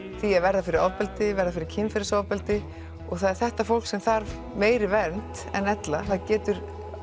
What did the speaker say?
því að verða fyrir ofbeldi verða fyrir kynferðisofbeldi og það er þetta fólk sem þarf meiri vernd en ella það getur